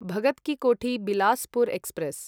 Bhagat ki Kothi Bilaspur express